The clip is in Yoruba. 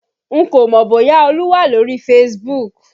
N kò mọ bóyá olú wà lórí Facebook